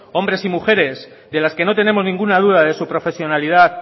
hombres y mujeres de las que no tenemos ninguna duda de su profesionalidad